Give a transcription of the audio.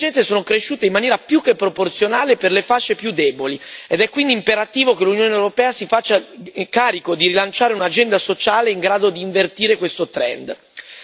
Le divergenze sono cresciute in maniera più che proporzionale per le fasce più deboli, ed è quindi imperativo che l'Unione europea si faccia carico di rilanciare un'agenda sociale in grado di invertire questo trend.